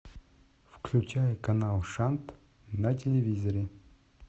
включай канал шант на телевизоре